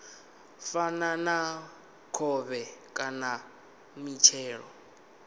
fana na khovhe kana mitshelo